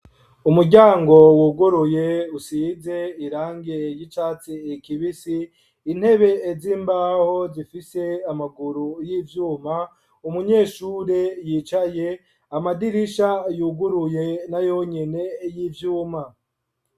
Umuryango wuguruye usize irangi y'icatsi kibisi, intebe z'imbaho zifise amaguru y'ivyuma, umunyeshure yicaye, amadirisha yuguruye na yonyene y'ivyuma.